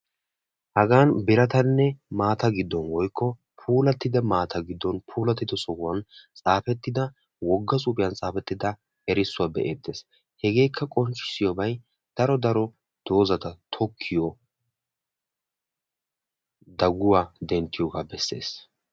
Hagan birattanne maatta giddon woykko puulattida maata giddon puulattida sohuwan xaafettida wogga xuufiyan xaafettidda erissuwa be'eettes. hegeekka qonccissiyobay daro daro doozata tokiyo dagguwa denttiyoogaa besses.